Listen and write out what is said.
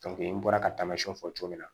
n bɔra ka tamasiyɛn fɔ cogo min na